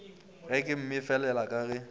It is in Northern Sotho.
ge ke mmefelela ka ge